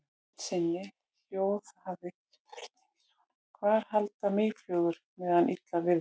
Í heild sinni hljóðaði spurningin svona: Hvar halda mýflugur sig meðan illa viðrar?